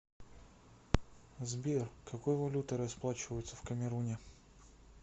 сбер какой валютой расплачиваются в камеруне